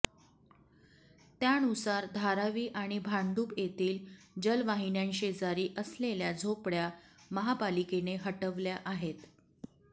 त्यानुसार धारावी आणि भांडुप येथील जलवाहिन्यांशेजारी असलेल्या झोपड्या महापालिकेने हटवल्या आहेत